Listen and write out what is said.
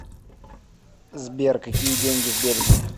сбер какие деньги в бельгии